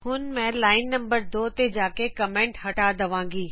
ਹੁਣ ਮੈਂ line number 2 ਤੇ ਜਾ ਕੇ ਕਮੈਂਟ ਹਟਾ ਦਵਾਗੀ